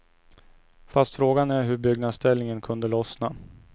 Fast frågan är hur byggnadsställningen kunde lossna.